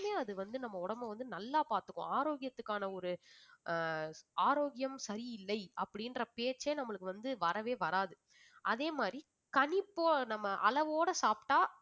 இன்னுமே அது வந்து நம்ம உடம்பை வந்து நல்லா பாத்துக்கும். ஆரோக்கியத்துக்கான ஒரு ஆஹ் ஆரோக்கியம் சரியில்லை அப்படின்ற பேச்சே நம்மளுக்கு வந்து வரவே வராது அதே மாதிரி கணிப்பு நம்ம அளவோட சாப்பிட்டா